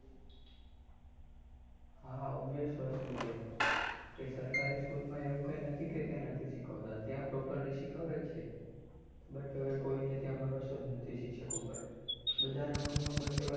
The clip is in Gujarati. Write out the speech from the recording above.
હા obvious વસ્તુ છે, કે સરકારી સ્કુલમાં એવું કઈ નહિ કે ત્યાં નથી શીખવાડતા ત્યાં properly શીખવાડે જ છે, but હવે કોઈને ત્યાં ભરોષો નથી શિક્ષકો પર બધાના મન માં બસ એવાજ